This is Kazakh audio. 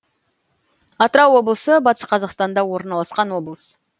атырау облысы батыс қазақстанда орналасқан облыс